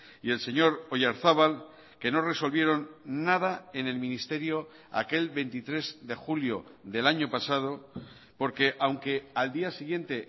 y el señor oyarzabal que no resolvieron nada en el ministerio aquel veintitrés de julio del año pasado porque aunque al día siguiente